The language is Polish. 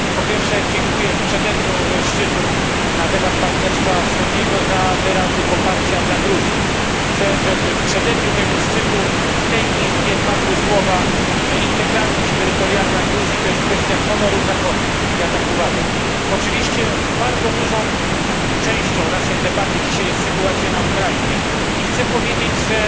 Po pierwsze, dziękuję w przededniu szczytu na temat partnerstwa wschodniego za wyrazy poparcia dla Gruzji. Chcę, żeby w przededniu tego szczytu w tej Izbie padły słowa, że integralność terytorialna Gruzji to jest kwestia honoru Zachodu ja tak uważam. Oczywiście bardzo dużą częścią naszej debaty dzisiaj jest sytuacja na Ukrainie i chcę powiedzieć, że